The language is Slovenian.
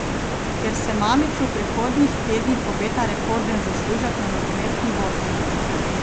Ker se Mamiću v prihodnjih tednih obeta rekorden zaslužek na nogometni borzi.